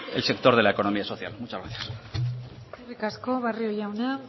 el sector de la economía social muchas gracias eskerrik asko barrio jauna